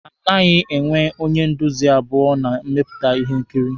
A naghị enwe onye nduzi abụọ na mmepụta ihe nkiri